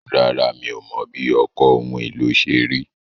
Rárá, mi ò mọ̀ bí ọkọ̀ ohun èlò ṣe rí.